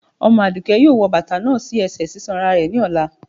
Omo adùké yóò wò batà náà sí ẹsẹ sisanra rẹ ní ọlà